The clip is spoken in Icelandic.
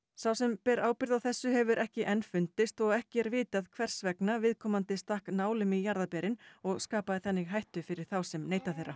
sá sem ber ábyrgð á þessu hefur ekki enn fundist og ekki er vitað hvers vegna viðkomandi stakk nálum í jarðarberin og skapaði þannig hættu fyrir þá sem neyta þeirra